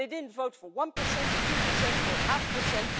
They didn't vote for one percent or two percent or half a percent.